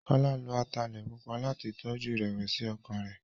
Kọ́lá lo ataalẹ̀ pupa láti tọjú ìrẹ̀wẹ̀sí-ọkàn rẹ̀.